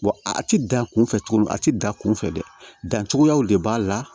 a ti dan kunfɛ cogo min a ti dan kunfɛ dɛ dancogoyaw de b'a la